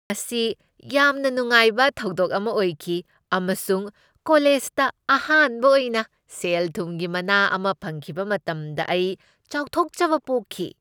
ꯃꯁꯤ ꯌꯥꯝꯅ ꯅꯨꯡꯉꯥꯏꯕ ꯊꯧꯗꯣꯛ ꯑꯃ ꯑꯣꯏꯈꯤ ꯑꯃꯁꯨꯡ ꯀꯣꯂꯦꯖꯇ ꯑꯍꯥꯟꯕ ꯑꯣꯏꯅ ꯁꯦꯜ ꯊꯨꯝꯒꯤ ꯃꯅꯥ ꯑꯃ ꯐꯪꯈꯤꯕ ꯃꯇꯝꯗ ꯑꯩ ꯆꯥꯎꯊꯣꯛꯆꯕ ꯄꯣꯛꯈꯤ ꯫